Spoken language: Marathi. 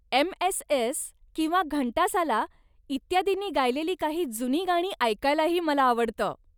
एम. एस. एस. किंवा घंटासाला इत्यादी नी गायिलेली काही जुनी गाणी ऐकायलाही मला आवडतं.